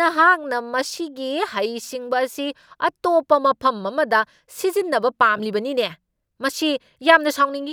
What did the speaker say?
ꯅꯍꯥꯛꯅ ꯃꯁꯤꯒꯤ ꯍꯩꯁꯤꯡꯕ ꯑꯁꯤ ꯑꯇꯣꯞꯄ ꯃꯐꯝ ꯑꯃꯗ ꯁꯤꯖꯤꯟꯅꯕ ꯄꯥꯝꯂꯤꯕꯅꯤꯅꯦ ? ꯃꯁꯤ ꯌꯥꯝꯅ ꯁꯥꯎꯅꯤꯡꯢ ꯫